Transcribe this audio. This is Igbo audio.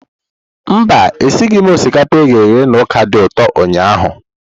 Mba, esighị m osikapa e ghere eghe na ọka dị ụtọ ụnyahụ.